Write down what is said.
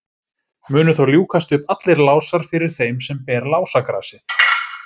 Munu þá ljúkast upp allir lásar fyrir þeim sem ber lásagrasið.